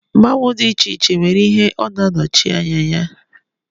Mmanwu dị iche iche nwere ihe Ọ na-anọchi anya ya.